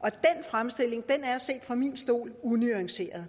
og den fremstilling er set fra min stol unuanceret